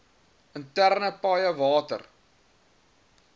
interne paaie water